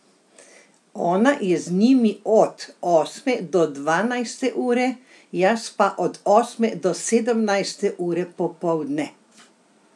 Ona je z njimi od osme do dvanajste ure, jaz pa od osme do sedemnajste ure popoldne.